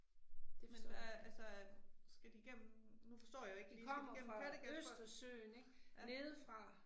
Men hvad, altså, skal de gennem, nu forstår jeg ikke lige, skal de gennem Kattegat for. Ja